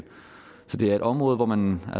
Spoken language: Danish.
det er et område hvor man